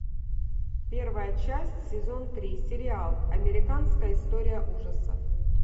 первая часть сезон три сериал американская история ужасов